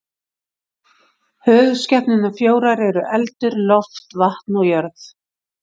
Höfuðskepnurnar fjórar eru eldur, loft, vatn og jörð.